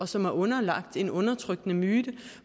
som er underlagt en undertrykkende myte